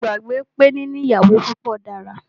Mó gbàgbé pé níní ìyàwó púpọ dára.